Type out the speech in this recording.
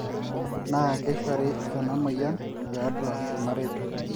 naa keishori enamoyian tiatua irmareita